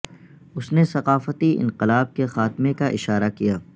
اس نے ثقافتی انقلاب کے خاتمے کا اشارہ کیا